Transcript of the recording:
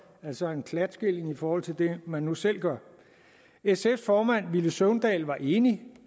altså en klatskilling i forhold til det man nu selv gør sfs formand villy søvndal var enig